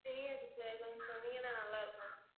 தெரியாது sir கொஞ்சம் சொன்னிங்கன்னா நல்லாருக்கும்